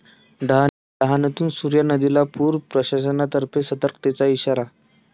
डहाणूत सूर्या नदीला पूर, प्रशासनातर्फे सतर्कतेचा इशारा